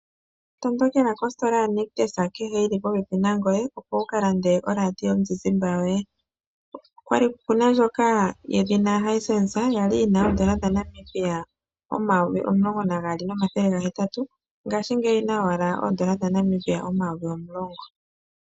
Tondokela kosikola yaNictus kehe yi li popepi nangoye opo wu kalande oradio yomuzizimba yoye, okuna ndjoka yedhina Hisense ya li yina oN$12 800.00 ngashingeyi oyi na owala oN$10 000.00